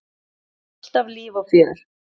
Alltaf líf og fjör.